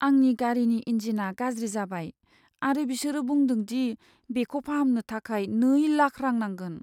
आंनि गारिनि इन्जिनआ गाज्रि जाबाय आरो बिसोरो बुंदों दि बेखौ फाहामनो थाखाय नै लाख रां नांगोन।